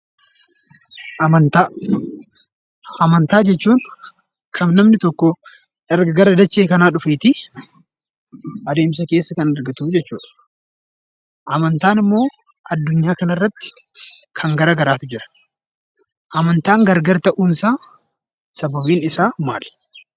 Amantaa jechuun kan namni tokko erga gara dachee kanaa dhufeetii adeemsa keessa kan argatu jechuudha. Amantaan immoo addunyaa kana irrati kan gara garaatu jira. Amantaan gargara ta'uun isaa sababiin isaa maali?